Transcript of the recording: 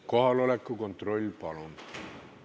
Kohaloleku kontroll, palun!